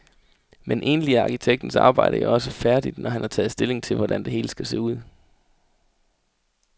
Men egentlig er arkitektens arbejde jo også færdigt, når han har taget stilling til, hvordan det hele skal se ud.